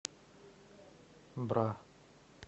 бра